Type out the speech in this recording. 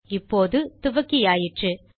இப்போது துவக்கியாயிற்று